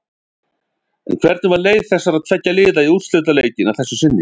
En hvernig var leið þessara tveggja liða í úrslitaleikinn að þessu sinni?